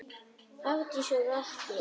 Hafdís og Atli.